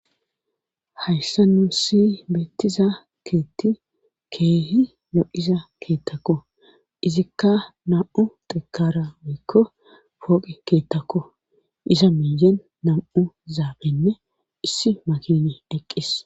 hayssa nuu si beettiza keetti keehi lo7iza keettakku izikka nam7u xekara woykko pooqe keettakku iza meeyen nam''u zaabenne issi makini eqqis.